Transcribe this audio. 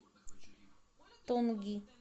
тонги